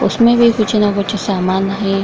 उसमे भी कुछ ना कुछ सामान है।